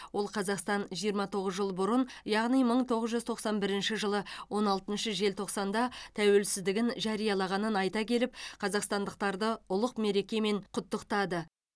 ол қазақстан жиырма тоғыз жыл бұрын яғни мың тоғыз жүз тоқсан бірінші жылы он алтыншы желтоқсанда тәуелсіздігін жариялағанын айта келіп қазақстандықтарды ұлық мерекемен құттықтады